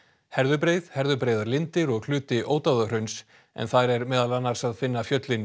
Herðubreið Herðubreiðarlindir og hluti Ódáðahrauns en þar er meðal annars að finna fjöllin